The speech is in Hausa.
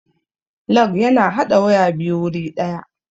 Lug ya na haɗa waya biyu wuri ɗaya